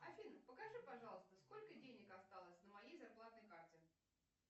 афина покажи пожалуйста сколько денег осталось на моей зарплатной карте